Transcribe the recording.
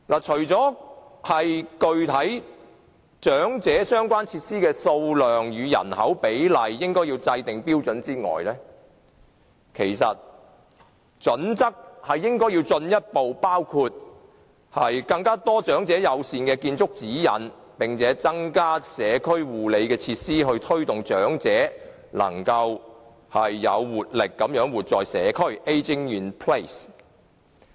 除了要制訂長者設施的數量與人口比例的標準外，應該進一步包括更多長者友善的建築指引，並且增加社區護理設施，以推動長者能夠有活力地活在社區。